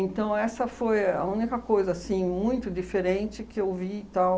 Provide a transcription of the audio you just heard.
essa foi a única coisa assim muito diferente que eu vi e tal.